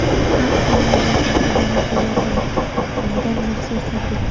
Xalq ta’limi vazirligi volontyorlari nomidan maxsus tabrik.